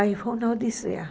Aí foi uma odisseia.